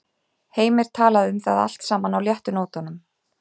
Heimir talaði um það allt saman á léttu nótunum.